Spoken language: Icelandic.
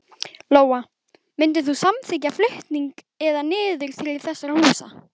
Lóa: Myndir þú samþykkja flutning eða niðurrif þessara húsa?